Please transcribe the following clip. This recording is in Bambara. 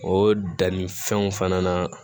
O dannifɛnw fana na